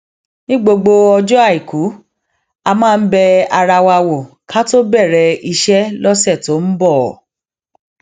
ní gbogbo ọjọ àìkú a máa ń bẹ ara wa wò ká tó bèrè iṣé lósè tó ń bò